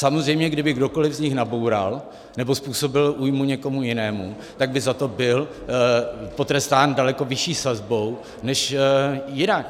Samozřejmě kdyby kdokoliv z nich naboural nebo způsobil újmu někomu jinému, tak by za to byl potrestán daleko vyšší sazbou než jinak.